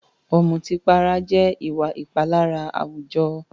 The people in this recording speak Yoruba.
Ọ̀mùtípara jẹ́ ìwà ìpalára àwùjọ.